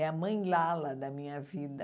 É a mãe Lala da minha vida.